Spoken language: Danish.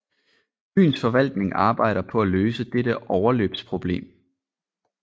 Byens forvaltning arbejder på at løse dette overløbsproblem